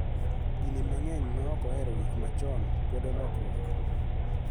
Dinde mang�eny ma ok ohero gik machon kwedo lokruok .